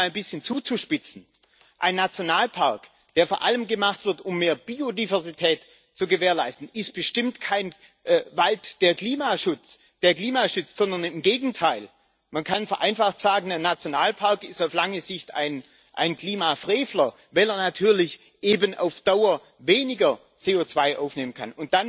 Um es mal ein bisschen zuzuspitzen Ein Nationalpark, der vor allem gemacht wird, um mehr Biodiversität zu gewährleisten, ist bestimmt kein Wald, der Klima schützt, sondern im Gegenteil Man kann vereinfacht sagen, dass ein Nationalpark auf lange Sicht ein Klimafrevler ist, weil er natürlich eben auf Dauer weniger CO2 aufnehmen kann.